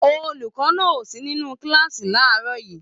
Olùkọ́ náà o sí nínú kíláàsì làárọ̀ yìí.